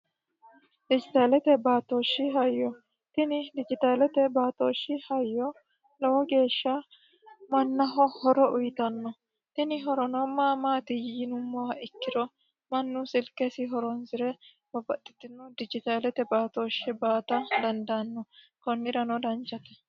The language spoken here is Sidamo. Dijitaaleta baatooshi hayyo tini dijitaalete baatooshi hayyo lowo geesha mannaho lowo hora uuyiitanno tini horono ma maati yinummoha ikkiro mannu silkesi horoonsire babbaxxitino dijitaalete baatooshe baata dandaanno konnirano danchate.